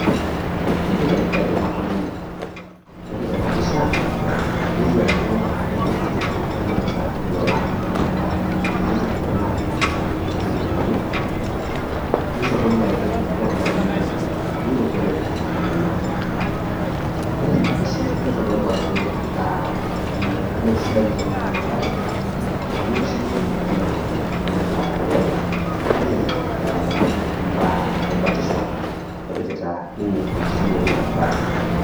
ee kaidim atolimu. ore tena pisha nelioo ajo entukutuk nanapita ilolan. ore ele tukutuk, naa kenapita irkuniyiani, nitodolu ajo ore olopeny ele tukutuk niroto ele tukutuk lenye oleng. ore tena pisha nitodolu ajo mme sidai oleng ena napare, amu eiroshiyie ele tungani ele tukutuk oleng. nelelk elo ayau imbaa ebatisho epikita ninye enkishui enye bata.